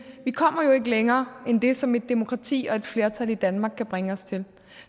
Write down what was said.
kommer jo ikke længere end det som et demokrati og et flertal i danmark kan bringe os til